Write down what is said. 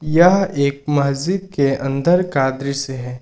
यह एक मस्जिद के अंदर का दृश्य है।